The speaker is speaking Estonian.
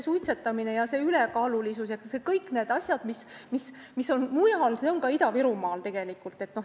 Suitsetamine, ülekaalulisus ja kõik need asjad, mis on mujal, on ka Ida-Virumaal.